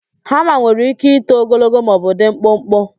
Hama nwere íké ito ogologo maọbụ dị mkpụkpụ.